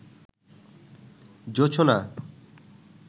জোছনা